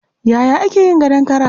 Yaya ake yin gadon kara?